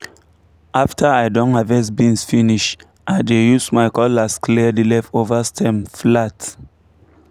after i don harvest beans finish i dey use my cutlass clear the leftover stem flat